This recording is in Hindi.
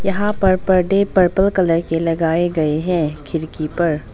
यहां पर पर्दे पर्पल कलर के लगाए गए हैं खिड़की पर।